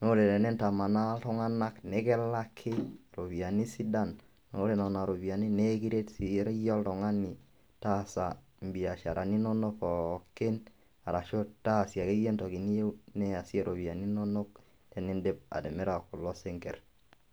naa ore enintamaana iltung'anak nekilaki iropiyiani sidan naa ore nena ropiyiani nekiret sii iyie oltung'ani taasa imbiasharani inonok pookin arashu taasie akeyie entoki niyieu niasie iropiyiani inonok teniindip atimira kulo sinkirr